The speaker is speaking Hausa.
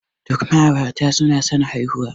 Duk ma'aurata suna son haihuwa.